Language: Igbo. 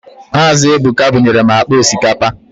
Mazi Ebuka bunyere m akpa osikapa